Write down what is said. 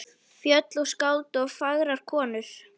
Fjöll og skáld og fagrar konur.